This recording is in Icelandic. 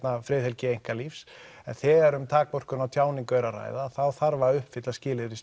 friðhelgi einkalífs en þegar um takmörkun á tjáningu er að ræða þá þarf að uppfylla skilyrði